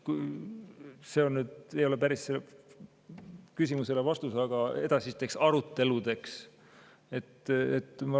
See ehk ei ole päris vastus küsimusele, aga edaspidi arutada seda.